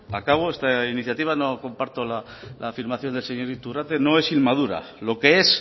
acabo esta iniciativa no comparto la afirmación del señor iturrate no es inmadura lo que es